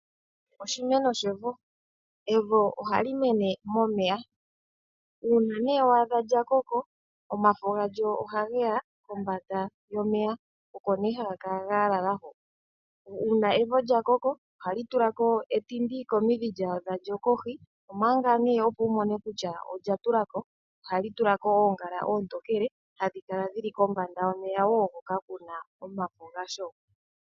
Oshimeno shevo. Evo ohali mene momeya, uuna nee wa adha lya koko omafo galyo ohage yakomvanda yomeya, omo nee haga kala ga lala hoka. Uuna evo lya koko ohali tulako etindi komidhi lyadho kohi, omanga nee opo wu mone kutya olya tulako ohali tulako oongala oontokele, hadhi kala dhili kombanda yomeya wo hoka kuna omafo ga sho.